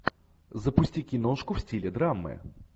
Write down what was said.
запусти киношку в стиле драмы